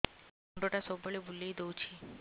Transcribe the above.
ମୁଣ୍ଡଟା ସବୁବେଳେ ବୁଲେଇ ଦଉଛି